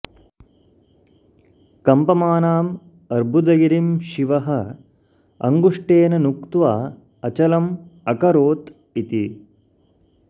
कम्पमानम् अर्बुदगिरिं शिवः अङ्गुष्ठेन नुत्त्वा अचलम् अकरोत् इति